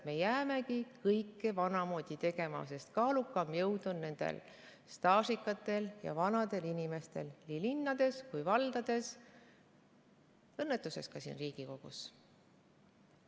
Me jäämegi kõike vanamoodi tegema, sest kaalukam jõud on staažikatel ja vanadel inimestel nii linnades kui ka valdades, õnnetuseks ka siin Riigikogus.